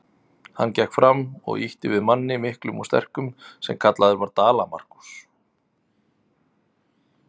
Hann gekk fram og ýtti við manni, miklum og sterkum, sem kallaður var Dala-Markús.